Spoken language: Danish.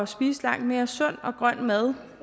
spise langt mere sund og grøn mad